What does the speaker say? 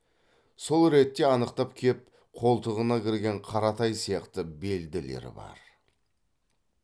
сол ретте анықтап кеп қолтығына кірген қаратай сияқты белділері бар